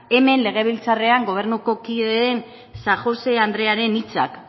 hemen legebiltzarrean gobernuko kideen san josé andrearen hitzak